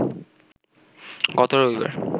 গত রবিবার